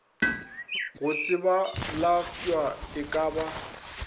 go tsebalafwa e ka ba